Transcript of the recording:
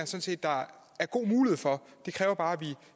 set der er god mulighed for det kræver bare at vi